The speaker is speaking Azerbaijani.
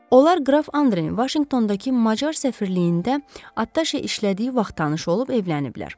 Onlar qraf Andreni Vaşinqtondakı macar səfirliyində attaşe işlədiyi vaxt tanış olub evləniblər.